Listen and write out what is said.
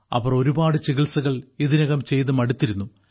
അവർ ഒരുപാട് ചികിത്സകൾ ഇതിനകം ചെയ്ത് മടുത്തിരുന്നു